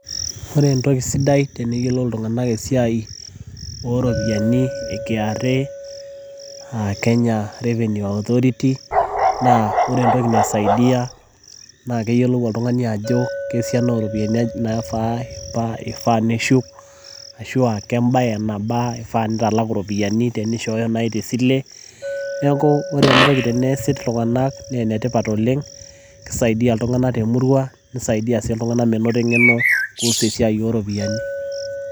ore entoki sidai teneyiolo ltunganak iropiyiani e KRA aa kenya revenue authority naa keyiiolou entoki naisaidia, keyiolou oltugani ajo kesiana ooropiyiani ifaa neshuk. ashu kebae nabaa ifaa nitalaku iropiyiani tenishooyo naaji te sileneeku ore entoki teneesi iltunganak, kisaidia iltunganak te murua nisaidia sii menoti irropiyiani.